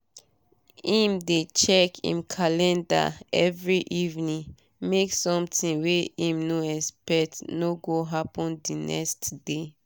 im dey check im calendar every evening make sometin wey im no expect no go happen d next day